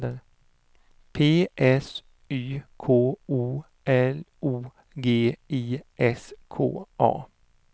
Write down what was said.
P S Y K O L O G I S K A